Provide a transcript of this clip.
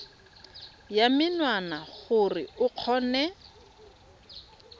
ya menwana gore o kgone